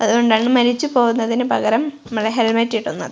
അതുകൊണ്ടാണ് മരിച്ചു പോകുന്നതിനു പകരം മ്മള് ഹെൽമെറ്റ് ഇടുന്നത്.